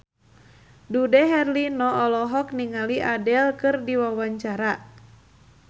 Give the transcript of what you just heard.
Dude Herlino olohok ningali Adele keur diwawancara